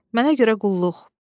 Mənə görə qulluq?"